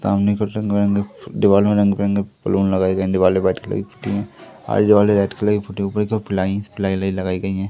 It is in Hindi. सामने की ओर दीवार में रंग-बिरंगे बैलून लगाये गये है दीवार पर व्हाइट कलर की पलाई वोलाई लगायी गयी है।